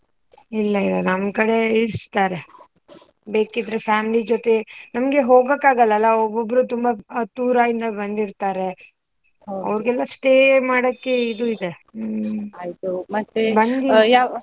ಇಲ್ಲ ಇಲ್ಲ ನಮ್ಕಡೆ ಇರ್ಸ್ತರೇ, ಬೇಕಿದ್ರೆ family ಜೊತೆ, ನಮ್ಗೆ ಹೋಗೋಕಾಗಲ್ಲ ಅಲ್ಲ ಒಬ್ ಒಬ್ರು ತುಂಬಾ ದೂರ ಇಂದ ಬಂದಿರ್ತಾರೆ, ಅವರ್ಗೆಲ್ಲಾ stay ಮಾಡಕ್ಕೆ ಇದು ಇದೆ. ಹೂಂ ಆಯ್ತು ಮತ್ತೆ